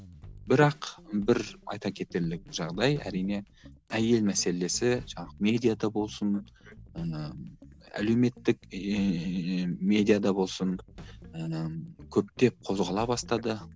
бірақ бір айта кетерлік жағдай әрине әйел мәселесі жаңағы медиада болсын ыыы әлеуметтік ііі медиада болсын ііі көптеп қозғала бастады